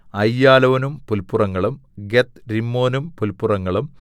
അയ്യാലോനും പുല്പുറങ്ങളും ഗത്ത്രിമ്മോനും പുല്പുറങ്ങളും